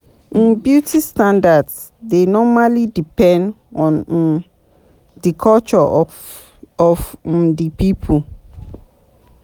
um Beauty standards dey normally depend on um di culture of um di pipo